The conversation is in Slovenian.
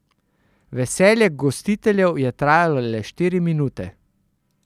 Veselje gostiteljev je trajalo le štiri minute.